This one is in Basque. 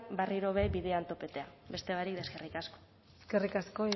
berriro be bidean topatzea beste barik eskerrik asko eskerrik asko